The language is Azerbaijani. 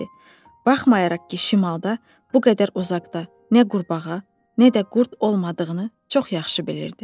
Baxmayaraq ki, şimalda bu qədər uzaqda nə qurbağa, nə də qurd olmadığını çox yaxşı bilirdi.